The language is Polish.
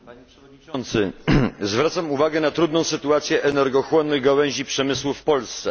Panie Przewodniczący! Zwracam uwagę na trudną sytuację energochłonnej gałęzi przemysłu w Polsce.